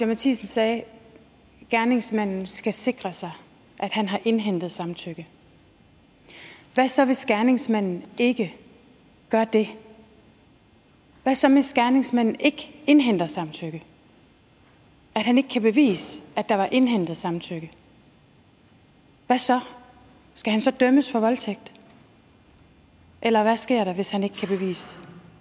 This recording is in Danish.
matthisen sagde at gerningsmanden skal sikre sig at han har indhentet samtykke hvad så hvis gerningsmanden ikke gør det hvad så hvis gerningsmanden ikke indhenter samtykke at han ikke kan bevise at der var indhentet samtykke hvad så skal han så dømmes for voldtægt eller hvad sker der hvis han ikke kan bevise